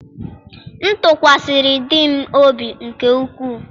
m tụkwasịrị di m obi nke ukwuu.